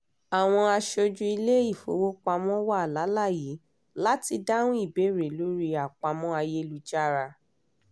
àwọn aṣojú ilé-ifowopamọ́ wà láláàyè láti dáhùn ìbéèrè lórí àpamọ́ ayélujára